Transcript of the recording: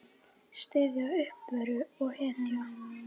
Styðja, uppörva og hvetja.